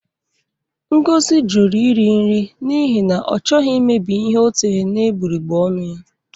Ngozi jụrụ iri nri n'ihi na ọ chọghị imebi ihe o tere n'egbugbere ọnụ ya